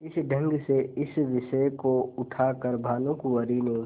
इस ढंग से इस विषय को उठा कर भानुकुँवरि ने